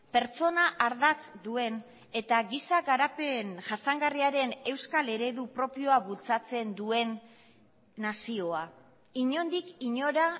pertsona ardatz duen eta giza garapen jasangarriaren euskal eredu propioa bultzatzen duen nazioa inondik inora